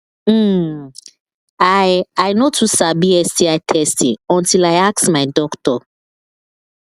hmmm i i no too sabi sti testing until i ask my doctor